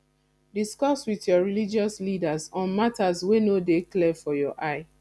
discuss with your religious leaders on matters wey no de clear for your eye